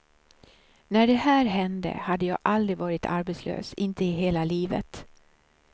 När det här hände hade jag aldrig varit arbetslös, inte i hela livet.